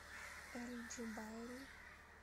эль джубайль